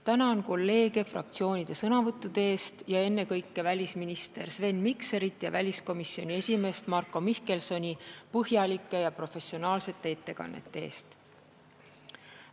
Tänan kolleege fraktsioonide sõnavõttude eest ning ennekõike välisminister Sven Mikserit ja väliskomisjoni esimeest Marko Mihkelsoni põhjalike ja professionaalsete ettekannete eest!